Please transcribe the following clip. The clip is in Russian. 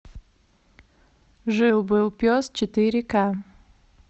жил был пес четыре ка